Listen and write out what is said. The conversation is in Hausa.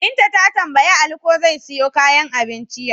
Binta ta tambayi Ali ko zai siyo kayan abincin yau?